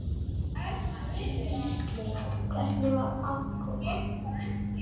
Gísli: Hvernig var aðkoman?